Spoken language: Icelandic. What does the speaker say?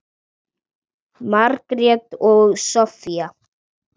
Margrét og Soffía.